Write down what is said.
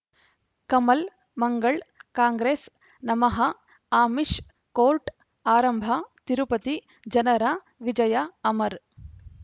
ಕಮಲ್ ಮಂಗಳ್ ಕಾಂಗ್ರೆಸ್ ನಮಃ ಆಮಿಷ್ ಕೋರ್ಟ್ ಆರಂಭ ತಿರುಪತಿ ಜನರ ವಿಜಯ ಅಮರ್